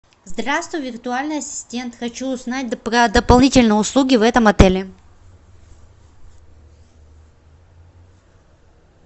здравствуй виртуальный ассистент хочу узнать про дополнительные услуги в этом отеле